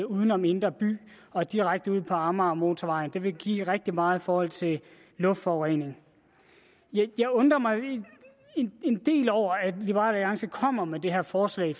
udenom indre by og direkte ud på amagermotorvejen det vil give rigtig meget i forhold til luftforureningen jeg undrer mig en del over at liberal alliance kommer med det her forslag